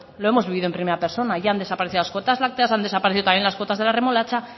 lo hemos vivido en primera persona ya han desparecido la cuotas lácteas han desaparecido también las cuotas de la remolacha